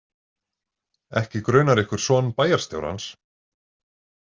Ekki grunar ykkur son bæjarstjórans?